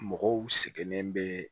Mɔgɔw sɛgɛnnen bɛ